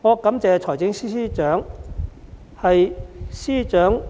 我感謝司長，是因為司長